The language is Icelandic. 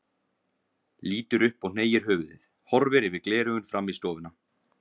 Lítur upp og hneigir höfuðið, horfir yfir gleraugun fram í stofuna.